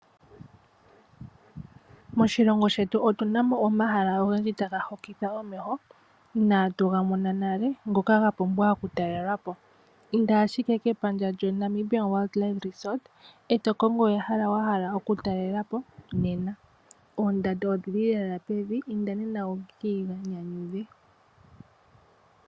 Moshilongo shetu omuna omahala ogendji taga hokitha omeho inaa tuga mona nale ngoka ga pumbwa oku talelwapo. Inda ashike kepandja lyoNamibia Wildlife Resort eto kongo ehala wa hala oku talelapo nena. Oondando odhili lela pevi, inda nena wu kiinyanyudhe